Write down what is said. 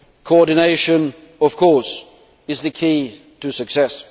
Coordination is, of course, the key to success.